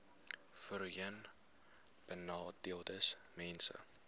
voorheenbenadeeldesmense